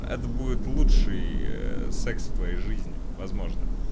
это будет лучший секс в твоей жизни возможно